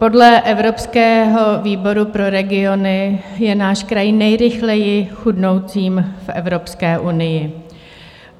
Podle evropského výboru pro regiony je náš kraj nejrychleji chudnoucím v Evropské unii.